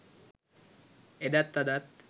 එදත් අදත්